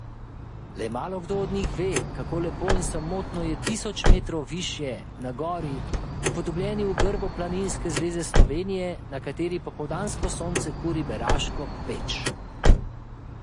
Le malokdo od njih ve, kako lepo in samotno je tisoč metrov višje, na gori, upodobljeni v grbu Planinske zveze Slovenije, na kateri popoldansko sonce kuri beraško peč.